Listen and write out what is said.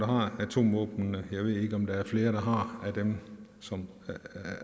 har atomvåbnene jeg ved ikke om der er flere af dem som